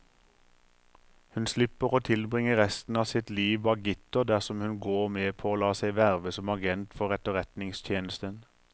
Hun slipper å tilbringe resten av sitt liv bak gitter dersom hun går med på å la seg verve som agent for etterretningstjenesten.